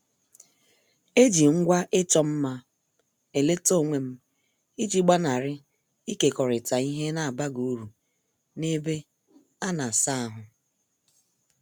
Eji ngwa ịchọ mma m eleta onwem iji gbanari ikekorita ihe n' abaghị uru na- ebe ana- asa ahụ.